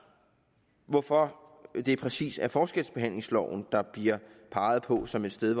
hvorfor det præcis er forskelsbehandlingsloven der bliver peget på som et sted